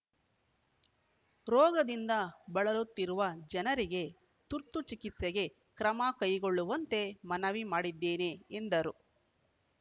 ರೋಗದಿಂದ ಬಳಲುತ್ತಿರುವ ಜನರಿಗೆ ತುರ್ತು ಚಿಕಿತ್ಸೆಗೆ ಕ್ರಮ ಕೈಗೊಳ್ಳುವಂತೆ ಮನವಿ ಮಾಡಿದ್ದೇನೆ ಎಂದರು